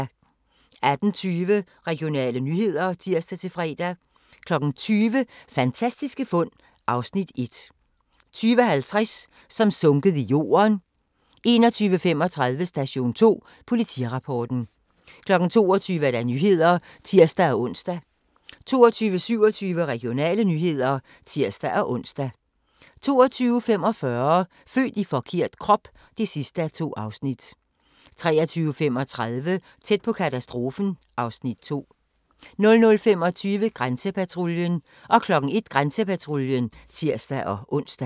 18:20: Regionale nyheder (tir-fre) 20:00: Fantastiske fund (Afs. 1) 20:50: Som sunket i jorden 21:35: Station 2 Politirapporten 22:00: Nyhederne (tir-ons) 22:27: Regionale nyheder (tir-ons) 22:45: Født i forkert krop (2:2) 23:35: Tæt på katastrofen (Afs. 2) 00:25: Grænsepatruljen 01:00: Grænsepatruljen (tir-ons)